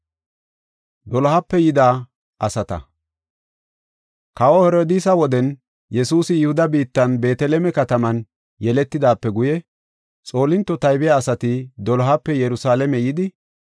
Kawa Herodiisa woden Yesuusi Yihuda biittan Beeteleme kataman yeletidaape guye xoolinto taybiya asati dolohape Yerusalaame yidi,